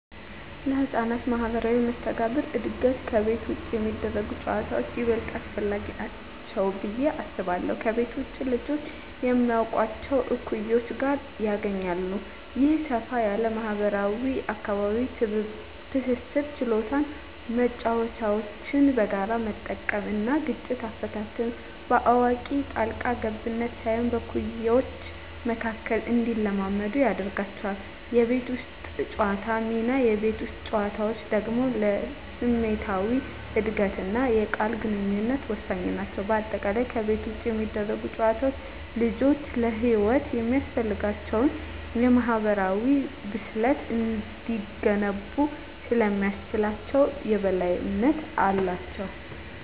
ለሕፃናት ማኅበራዊ መስተጋብር እድገት ከቤት ውጭ የሚደረጉ ጨዋታዎች ይበልጥ አስፈላጊ ናቸው ብዬ አስባለሁ። ከቤት ውጭ ልጆች ከማያውቋቸው እኩዮች ጋር ይገናኛሉ። ይህ ሰፋ ያለ ማኅበራዊ አካባቢ የትብብር ችሎታን (መጫወቻዎችን በጋራ መጠቀም) እና ግጭት አፈታትን (በአዋቂ ጣልቃ ገብነት ሳይሆን በእኩዮች መካከል) እንዲለማመዱ ያደርጋቸዋል። የቤት ውስጥ ጨዋታዎች ሚና: የቤት ውስጥ ጨዋታዎች ደግሞ ለስሜታዊ እድገትና የቃል ግንኙነት ወሳኝ ናቸው። በአጠቃላይ፣ ከቤት ውጭ የሚደረጉ ጨዋታዎች ልጆች ለሕይወት የሚያስፈልጋቸውን የማኅበራዊ ብስለት እንዲገነቡ ስለሚያስችላቸው የበላይነት አላቸው።